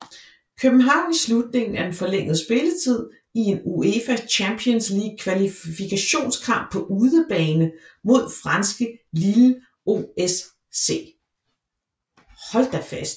København i slutningen af den forlængede spilletid i en UEFA Champions League kvalifikationskamp på udebane mod franske Lille OSC